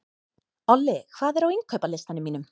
Olli, hvað er á innkaupalistanum mínum?